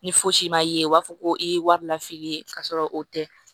Ni fosi ma ye u b'a fɔ ko i ye wari lafili k'a sɔrɔ o tɛ